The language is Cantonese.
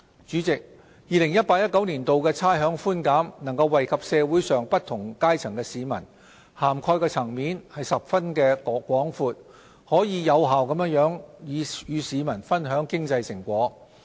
主席 ，2018-2019 年度的差餉寬減能惠及社會上不同階層的市民，涵蓋層面十分廣闊，可有效地與市民分享經濟成果。